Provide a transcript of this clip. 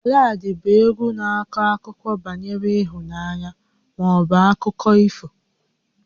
Baladị bụ égwu na-akọ akụkọ banyere ịhụnanya maọbụ akụkọ ifo